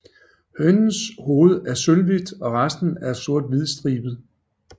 Hønens hoved er sølvhvidt og resten er sorthvidstribet